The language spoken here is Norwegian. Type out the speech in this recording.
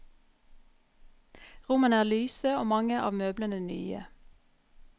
Rommene er lyse og mange av møblene nye.